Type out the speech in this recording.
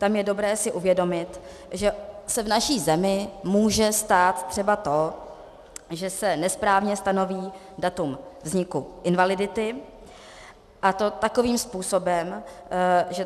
Tam je dobré si uvědomit, že se v naší zemi může stát třeba to, že se nesprávně stanoví datum vzniku invalidity, a to takovým způsobem, že...